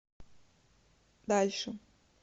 дальше